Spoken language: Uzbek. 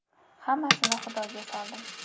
Hammasini Xudoga soldim.